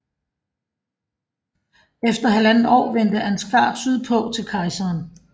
Efter halvandet år vendte Ansgar sydpå til kejseren